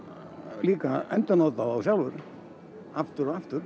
líka að endurnota þá sjálfur aftur og aftur